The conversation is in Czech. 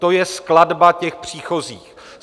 To je skladba těch příchozích.